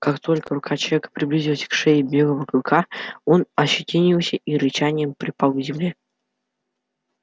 как только рука человека приблизилась к шее белого клыка он ощетинился и рычанием припал к земле